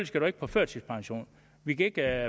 skal du ikke på førtidspension vi kan ikke